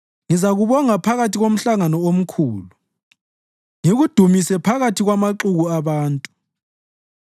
Ngizakubonga phakathi komhlangano omkhulu; ngikudumise ngiphakathi kwamaxuku abantu.